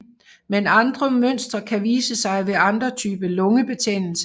Men andre mønstre kan vise sig ved andre typer lungebetændelse